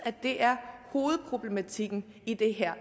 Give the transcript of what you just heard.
det er hovedproblematikken i det her